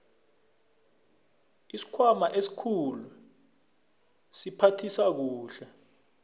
isikhwama esikhulu siphathisa kuhle